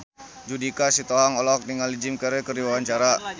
Judika Sitohang olohok ningali Jim Carey keur diwawancara